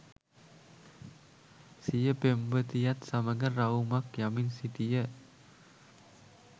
සිය පෙම්වතියත් සමග රවුමක් යමින් සිටිය